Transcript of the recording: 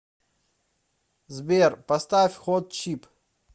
сбер поставь хот чип